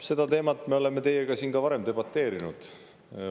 Selle teema üle me oleme teiega siin ka varem debateerinud.